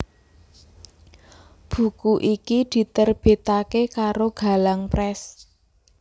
Buku iki diterbitake karo Galang Press